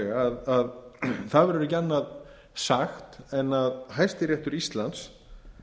sérstaklega að ekki verður annað sagt en hæstiréttur íslands